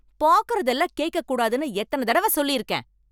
பாக்கறது எல்லாம் கேக்க கூடாதுன்னு எத்தன தடவ சொல்லி இருக்கேன்?